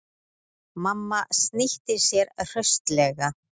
Mamma snýtti sér hraustlega.